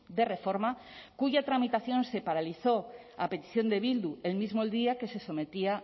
de reforma cuya tramitación se paralizó a petición de bildu el mismo el día que se sometía